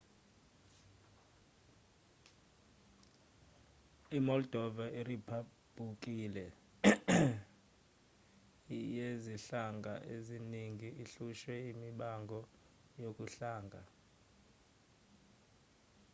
i-moldova iriphabhuliki yezinhlanga eziningi ehlushwe imibango yobuhlanga